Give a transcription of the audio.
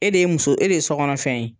E de ye muso e de sɔ kɔnɔfɛn ye.